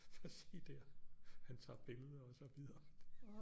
Prøv at se der han tager billeder og så videre